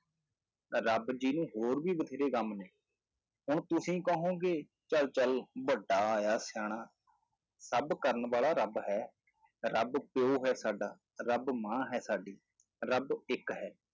ਰੱਬ ਜੀ ਨੂੰ ਹੋਰ ਵੀ ਬਥੇਰੇ ਕੰਮ ਨੇ, ਹੁਣ ਤੁਸੀਂ ਕਹੋਂਗੇ ਚੱਲ ਚੱਲ ਵੱਡਾ ਆਇਆ ਸਿਆਣਾ, ਸਭ ਕਰਨ ਵਾਲਾ ਰੱਬ ਹੈ, ਰੱਬ ਪਿਓ ਹੈ ਸਾਡਾ, ਰੱਬ ਮਾਂ ਹੈ ਸਾਡੀ, ਰੱਬ ਇੱਕ ਹੈ।